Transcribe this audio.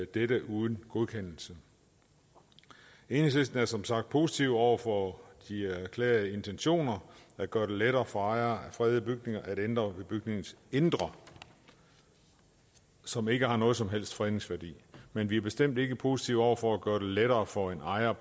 dette uden godkendelse i enhedslisten er vi som sagt positive over for de erklærede intentioner der gør det lettere for ejere af fredede bygninger at ændre ved bygningens indre som ikke har nogen som helst fredningsværdi men vi er bestemt ikke positive over for at gøre det lettere for en ejer